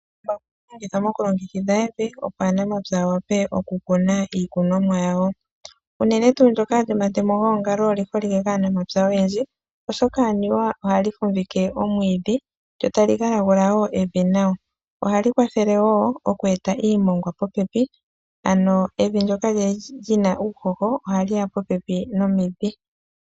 Embakumbaku ohali longithwa mokulongekidha evi opo aanamapya ya wape oku kuna iikunomwa yawo uunene tuu ndjoka lyomatemo oliholike kaanamapya oyendji oshoka anuwa ohali fumvike omwiidhi lyotali gala gula wo evi nawa ohali kwathele wo oku eta iimongwa popepi ano evi ndjoka lyina uuhoho ohaliya popepi nomidhi.